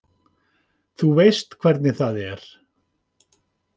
Þú veist hvernig það er.